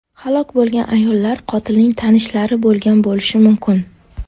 Halok bo‘lgan ayollar qotilning tanishlari bo‘lgan bo‘lishi mumkin.